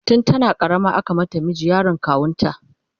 tun tana karama aka mata miji, yaron kawunta